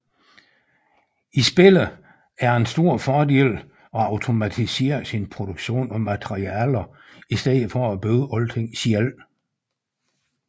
I spillet er det en stor fordel at automatisere sin produktion af materialer i stedet for at bygge alt selv